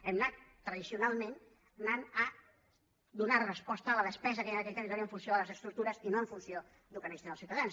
hem anat tradicionalment anant a donar resposta a la despesa que hi ha en aquell territori en funció de les estructures i no en funció del que necessiten els ciutadans